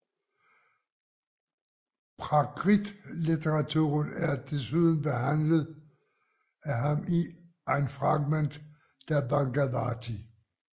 Prakritlitteraturen er desuden behandlet af ham i Ein Fragment der Bhagavati